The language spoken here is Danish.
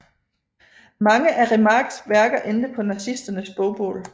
Mange af Remarques værker endte på nazisternes bogbål